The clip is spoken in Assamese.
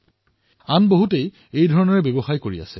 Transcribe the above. তেওঁৰ দৰে বহু লোকে এই কাম কৰি আছে